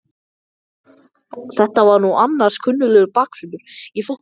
Þetta var nú annars kunnuglegur baksvipur!